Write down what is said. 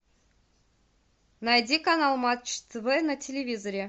найди канал матч тв на телевизоре